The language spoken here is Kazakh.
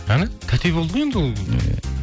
әне тәте болды ғой енді ол